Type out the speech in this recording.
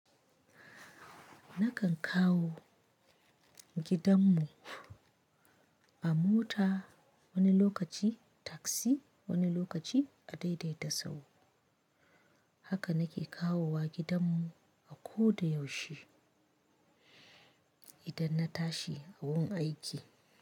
Nakan kawo gidan mu a mota wani lokaci taksi wani lokaci a daidaita sahu. Haka na ke kawowa gidan mu a ko da yaushe idan na tashi a wurin aiki.